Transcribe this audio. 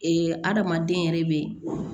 adamaden yɛrɛ bɛ